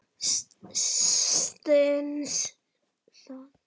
Stenst það?